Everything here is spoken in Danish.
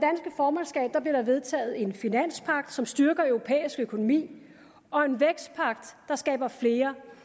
formandskab blev der vedtaget en finanspagt som styrker europæisk økonomi og en vækstpagt der skaber flere